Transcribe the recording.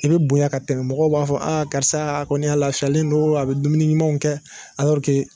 I bɛ bonya ka tɛmɛ, mɔgɔw b'a fɔ, a karisa a kɔni a lafiyalen don, a be dumuni ɲumanw kɛ